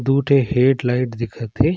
दू ठे head light दिखत है ।